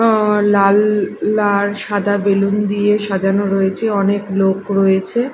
আর লাল আর সাদা বেলুন দিয়ে সাজানো রয়েছে অনেক লোক রয়েছে।